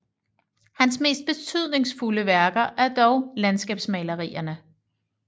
Hans mest betydningsfulde værker er dog landskabsmalerierne